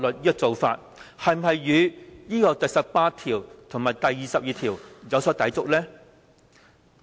這做法是否跟第十八條和第二十二條有所抵觸呢？